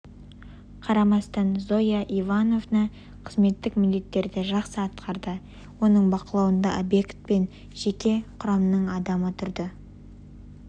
қарамастан зоя ивановна қызметтік міндеттерін жақсы атқарды оның бақылауында обьект пен жеке құрамның адамы тұрды